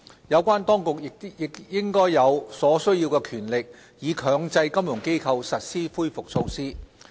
有關當局亦應有所需權力，以強制金融機構實施恢復措施。